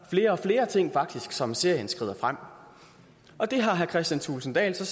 flere og flere ting som serien skrider frem og det har herre kristian thulesen dahl så